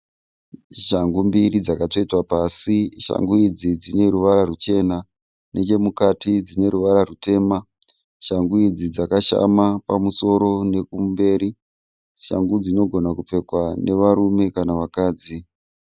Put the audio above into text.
Shangu mbiri dzakatsvetwa pasi. Shangu idzi dzine ruvara ruchena. Nechemukati dzine ruvara rutema. Shangu idzi dzakashama pamusoro nekumberi. Shangu dzinogona kupfekwa nevarume kana vakadzi.